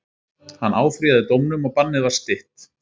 Hann áfrýjaði dómnum og bannið var stytt.